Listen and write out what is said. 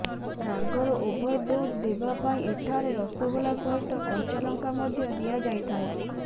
ରାଗର overdose ଦେବା ପାଇଁ ଏଠାରେ ରସଗୋଲା ସହିତ କଞ୍ଚା ଲଙ୍କା ମଧ୍ୟ ଦିଆଯାଇଥାଏ